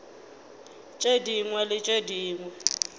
tše dingwe le tše dingwe